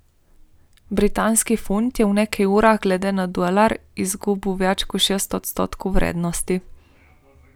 Britanski funt je v nekaj urah glede na dolar izgubil več kot šest odstotkov vrednosti.